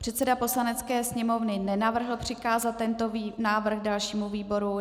Předseda Poslanecké sněmovny nenavrhl přikázat tento návrh dalšímu výboru.